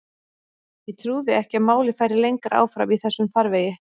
Ég trúði ekki að málið færi lengra áfram í þessum farvegi.